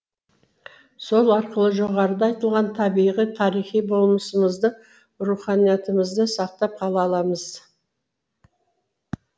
сол арқылы жоғарыда айтылған табиғи тарихи болмысымызды руханиятымызды сақтап қала аламыз